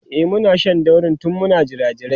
e Muna Shan dauri tun Muna jirajirai